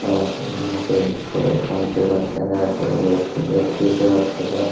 आदमी यहाँ पे फोन पे बात कर रहा है कोई बैठ के दोस्ती से बात कर रहा है।